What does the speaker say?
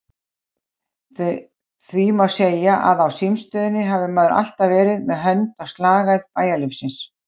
Því má segja að á símstöðinni hafi maður alltaf verið með hönd á slagæð bæjarlífsins.